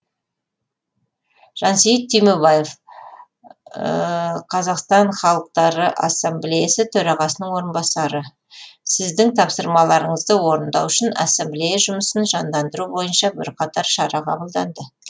жансейіт түймебаев қазақстан халықтары ассамблеясының төрағасының орынбасары сіздің тапсырмаларыңызды орындау үшін ассамблея жұмысын жандандыру бойынша бірқатар шара қабылданды